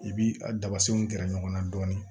I b'i ka dabafinw gɛrɛ ɲɔgɔn na dɔɔnin